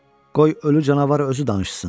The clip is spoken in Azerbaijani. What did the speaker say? Qoy ölü canavar özü danışsın.